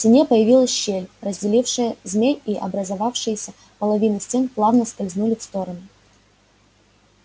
в стене появилась щель разделившая змей и образовавшиеся половины стен плавно скользнули в стороны